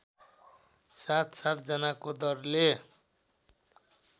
सातसात जनाको दरले